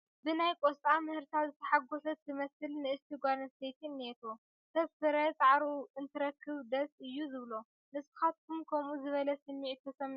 ብናይ ቆስጣ ምህርታ ዝተሓጐሰት ትመስል ንእስቲ ጓል ኣነስተይቲ እኔቶ፡፡ ሰብ ፍረ ፃዕሩ እንትረክብ ደስ እዩ ዝብሎ፡፡ ንስኻትኩም ከምኡ ዝበለ ስምዒት ተሰሚዑኹም ዶ ይፈለጥ?